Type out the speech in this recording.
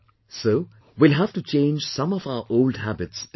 So we will have to change some of our old habits as well